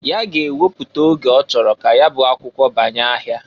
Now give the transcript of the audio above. Ya ga-ewepụta oge ọchọrọ ka ya bụ akwụkwọ banye ahịa.